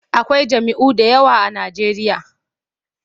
Akwai jam'iyyu da yawa a Najeriya.